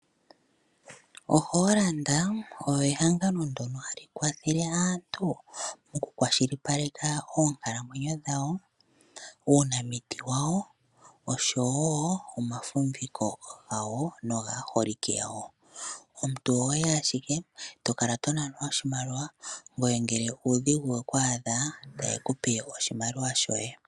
OHollard oyo ehangano ndono hali kwathele aantu moku kwashilipaleka oonkalamwenyo dhawo, uunamiti wawo oshowo omafumviko gawo nogaaholike yawo. Omuntu oho yi ashike to kala to nanwa, ngoye ngele uudhigu weku adha taye ku pe oshimaliwa shoye.